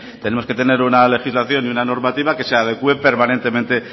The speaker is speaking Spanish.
tenemos que tener una legislación y una normativa que se adecue permanentemente